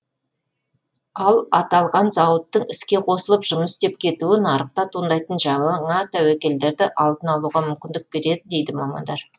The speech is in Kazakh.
ал аталған зауыттың іске қосылып жұмыс істеп кетуі нарықта туындайтын жаңа тәуекелдерді алдын алуға мүмкіндік береді дейді мамандар